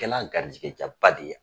kɛ la garijɛgɛja ba de ye.